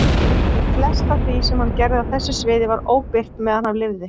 Flest af því sem hann gerði á þessu sviði var óbirt meðan hann lifði.